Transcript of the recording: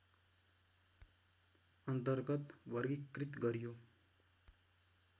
अन्तर्गत वर्गीकृत गरियो